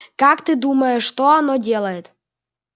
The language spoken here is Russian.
как ты думаешь что оно делает